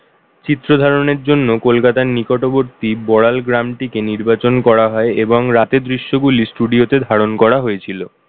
চিত্র ধারণের জন্য কলকাতার নিকটবর্তী বড়াল গ্রামটিকে নির্বাচন করা হয় এবং রাতে দৃশ্যগুলি studio তে ধারণ করা হয়েছিল।